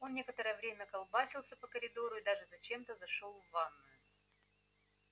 он некоторое время колбасился по коридору и даже зачем-то зашёл в ванную